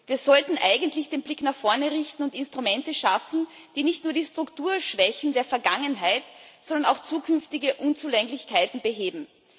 Wir sollten eigentlich den Blick nach vorne richten und Instrumente schaffen, die nicht nur die Strukturschwächen der Vergangenheit, sondern auch zukünftige Unzulänglichkeiten beheben.